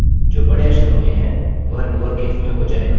the hello जो बड़े अक्षरों में है वह लोअरकेस में हो जाएगा